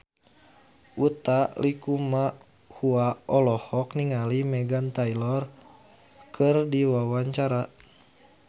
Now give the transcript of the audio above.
Utha Likumahua olohok ningali Meghan Trainor keur diwawancara